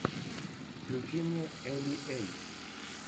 включи мне эли эй